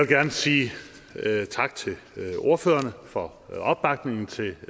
gerne sige tak til ordførerne for opbakningen til